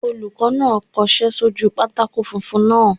Olùkọ́ náà kọsẹ́ sójú pátákó funfun náà